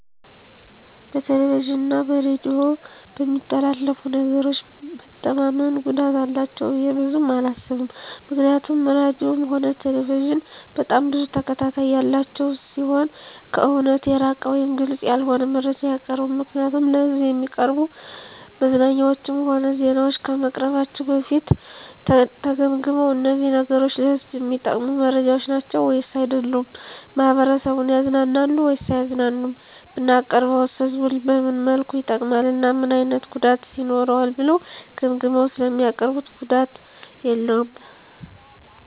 በቴሌቪዥን እና በሬዲዮ በሚተላለፉ ነገሮች መተማመን ጉዳት አላቸው ብዬ ብዙም አላስብም ምክንያቱም ራድዮም ሆነ ቴሌቪዥን በጣም ብዙ ተከታታይ ያላቸው ሲሆኑ ከእውነት የራቀ ወይም ግልፅ ያልሆነ መረጃ አያቀርቡም ምክንያቱም ለሕዝብ እሚቀርቡ መዝናኛዎችም ሆነ ዜናዎች ከመቅረባቸው በፊት ተገምግመው እነዚህ ነገሮች ለህዝቡ እሚጠቅሙ መረጃዎች ናቸው ወይስ አይደሉም፣ ማህበረሰቡን ያዝናናሉ ወይስ አያዝናኑም፣ ብናቀርበውስ ህዝቡን በምን መልኩ ይጠቅማል እና ምን አይነት ጉዳትስ ይኖረዋል ብለው ገምግመው ስለሚያቀርቡት ጉዳት የለውም።